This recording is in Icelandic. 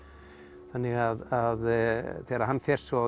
þannig að þegar hann fer svo í